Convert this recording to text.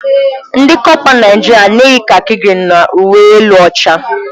Ndị kọpa Naijiria na-eyi kaki grịn na uwe elu ọcha.